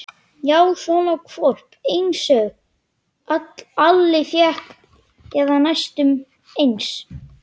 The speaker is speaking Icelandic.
Já, svona hvolp einsog Alli fékk, eða næstum eins.